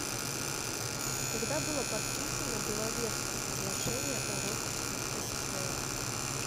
когда было подписано беловежское соглашение о роспуске ссср